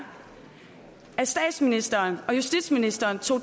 at statsministeren og justitsministeren tog